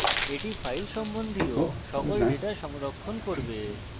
এটি file সম্বন্ধীয় সকল ডেটা সংরক্ষণ করবে